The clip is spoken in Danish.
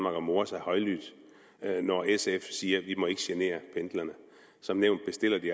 og more sig højlydt når sf siger ikke må genere pendlerne som nævnt bestiller vi